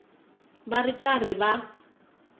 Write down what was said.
va ri karhi va n